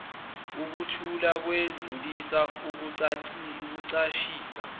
ukuthutha ukwedlulisa ukucashisa